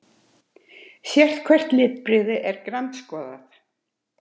Sérhvert litbrigði er grandskoðað.